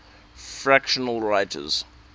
fictional writers